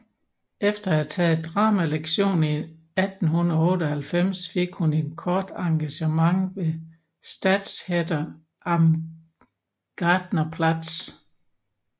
Efter at have taget dramalektioner i 1898 fik hun et kort engagement ved Staatstheater am Gärtnerplatz